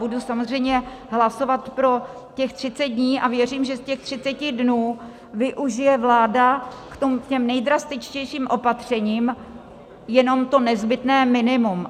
Budu samozřejmě hlasovat pro těch 30 dní a věřím, že z těch 30 dnů využije vláda k těm nejdrastičtějším opatřením jenom to nezbytné minimum.